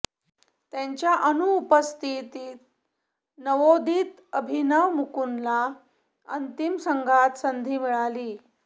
त्याच्या अनुपस्थितीत नवोदित अभिनव मुकुंदला अंतिम संघात संधी मिळाली